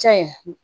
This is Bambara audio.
Ca ye